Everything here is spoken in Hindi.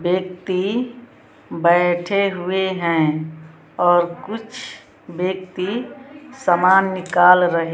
बैक्ति बैठे हुए हैं और कुछ बैक्ति समान निकाल रहे --